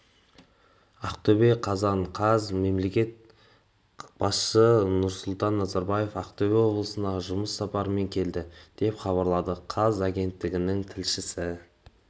ақтөбе қазан қаз мемлекет басшысынұрсұлтан назарбаев ақтөбе облысына жұмыс сапарымен келді деп хабарлады қаз агенттігінің тілшісі